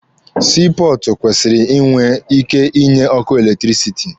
Sii pọọtụ kwesịrị ịnwe ịke ịnye ọkụ eletirisiti.